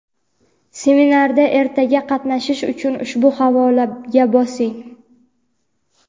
Seminarda ertaga qatnashish uchun ushbu havolaga bosing.